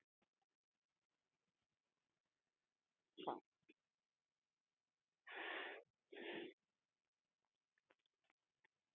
Hver ber ábyrgð á þessu? segir hann.